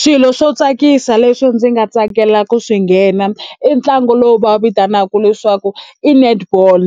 Swilo swo tsakisa leswi ndzi nga tsakela ku swi nghena i ntlangu lowu va wu vitanaka leswaku i netball